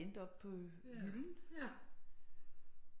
Endte oppe på hylden